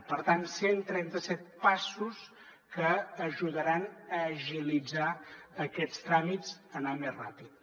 per tant cent i trenta set passos que ajudaran a agilitzar aquests tràmits a anar més ràpid